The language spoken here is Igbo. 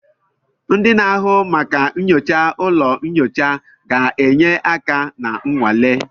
Ndị na-ahụ maka nyocha ụlọ nyocha ga-enye aka na nnwale.